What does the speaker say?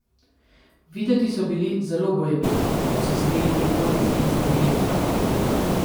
Videti so bili zelo bojeviti, ko so sedeli v prikolici in strmeli v zrak.